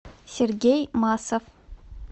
сергей масов